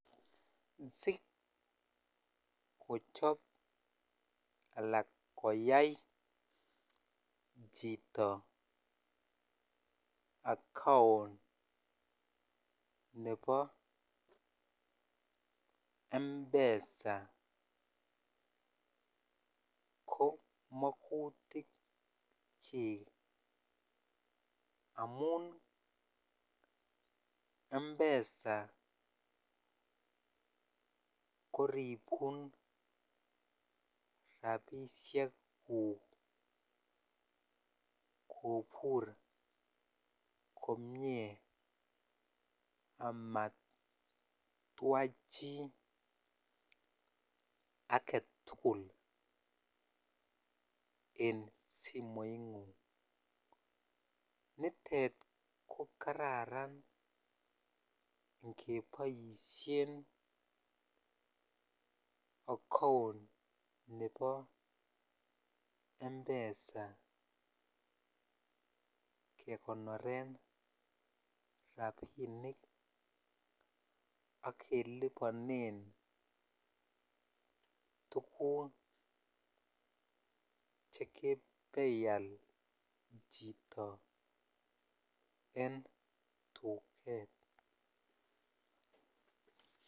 Sikochop alak koyai chito account nebo M-Pesa ko mogutikyik amun M-Pesa koribun rabishekuk kobur komie amatwa chi age tugul en simoing'ung. Nitet ko kararan ngeboishen account nebo M-Pesa kekonoren rabinik ak keliponen tuguk che kebeial chito en tuget.